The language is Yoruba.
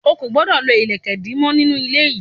Ò gbọdọ̀ lo ilẹ̀kè ìdí mọ nínú ilé yìí.